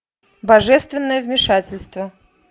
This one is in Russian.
божественное вмешательство